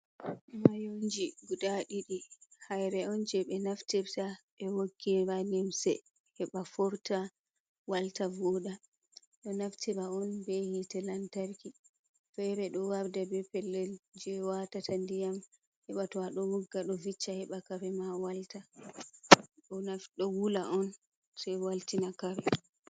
Mayonji guda ɗidi haire on je ɓe naftirta ɓe woggira limse heba forta walta voɗa ɗo naftira on be hite lantarki fere do warda be pellel je watata ndiyam heba to a ɗo wogga ɗo vicca heɓa karema walta. Ɗo wula on se waltina kare.